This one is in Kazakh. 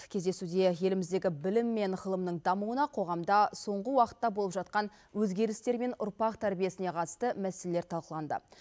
кездесуде еліміздегі білім мен ғылымның дамуына қоғамда соңғы уақытта болып жатқан өзгерістер мен ұрпақ тәрбиесіне қатысты мәселелер талқыланды